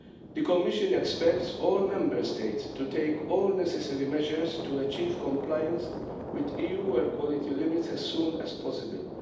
The Commission expects all Member States to take all necessary measures to achieve compliance with EU air quality limits as soon as possible.